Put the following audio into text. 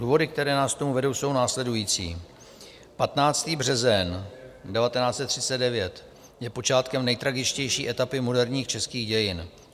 Důvody, které nás k tomu vedou, jsou následující: 15. březen 1939 je počátkem nejtragičtější etapy moderních českých dějin.